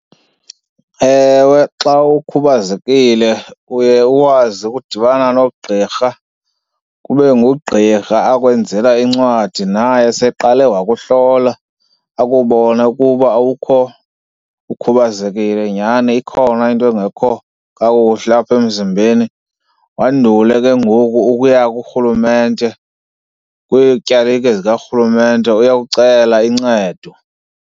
Ewe, xa ukhubazekile uye ukwazi ukudibana noogqirha kube ngugqirha akwenzela incwadi naye seyeqale wakuhlola. Akubone ukuba awukho ukhubazekile nyhani ikhona into engekho kakuhle apha emzimbeni, wandule ke ngoku ukuya kurhulumente kwiityalike zikarhulumente uyokucela uncedo.